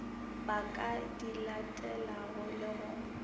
ba ka dilatelago le go